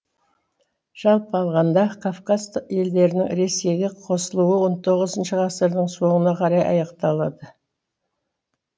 жалпы алғанда кавказ елдерінің ресейге қосылуы он тоғызыншы ғасырдың соңына қарай аяқталады